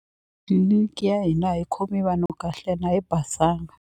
a yi khombi vanhu kahle ene a yi basanga.